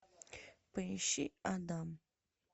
поищи адам